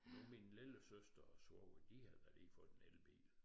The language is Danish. Nu min lillesøster og svoger de har da lige fået en elbil